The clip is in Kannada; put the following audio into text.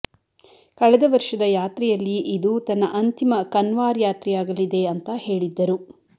ಕಳೆದ ವರ್ಷದ ಯಾತ್ರೆಯಲ್ಲಿ ಇದು ತನ್ನ ಅಂತಿಮ ಕನ್ವಾರ್ ಯಾತ್ರೆಯಾಗಲಿದೆ ಅಂತ ಹೇಳಿದ್ದರು